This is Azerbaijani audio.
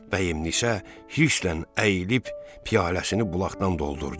Vəhminisə hirsindən əyilib piyaləsini bulaqdan doldurdu.